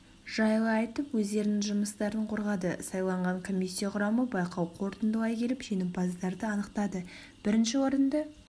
жайлы айтып өздерінің жұмыстарын қорғады сайланған комиссия құрамы байқау қортындылай келіп женімпаздарды анықтады бірінші орынды